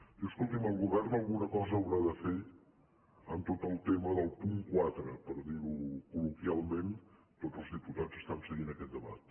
diu escolti’m el govern alguna cosa haurà de fer en tot el tema del punt quatre per dir·ho col·loquialment tots els diputats estan seguint aquest debat